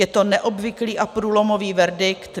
Je to neobvyklý a průlomový verdikt.